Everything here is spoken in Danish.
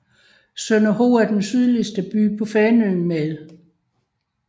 Sønderho er den sydligste by på Fanø med